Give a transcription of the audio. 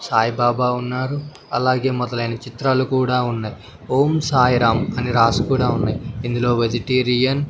సాయిబాబా ఉన్నారు అలాగే మొదలైన చిత్రాలు కూడా ఉన్నాయ్ ఓం సాయిరాం అని రాసి కూడా ఉన్నాయ్ ఇందులో వెజిటేరియన్ --